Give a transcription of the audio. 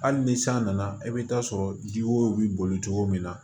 Hali ni san nana i bɛ taa sɔrɔ ji wo bi boli cogo min na